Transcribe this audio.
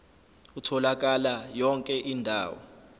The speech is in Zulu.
utholakala yonke indawo